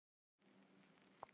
Boltinn er að breytast.